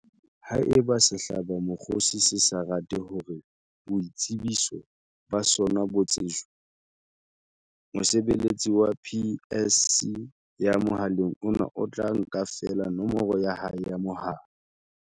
Haeba sehlabamokgosi se sa rate hore boitsebiso ba sona bo tsejwe, mosebeletsi wa PSC ya mohaleng ona o tla nka feela nomoro ya hae ya mohala.